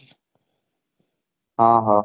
ହଁ ହଁ